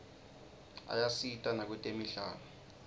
ayasita nakwetemidlalo